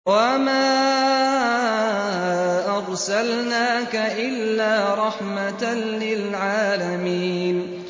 وَمَا أَرْسَلْنَاكَ إِلَّا رَحْمَةً لِّلْعَالَمِينَ